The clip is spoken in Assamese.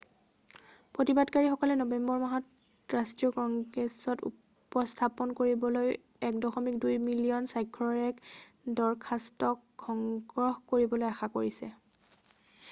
প্ৰতিবাদীসকলে নৱেম্বৰ মাহত ৰাষ্ট্ৰীয় কংগ্ৰেছত উপস্থাপন কৰিবলৈ 1.2 মিলিয়ন স্বাক্ষৰৰ এক দৰখাস্তক সংগ্ৰহ কৰিবলৈ আশা কৰিছে৷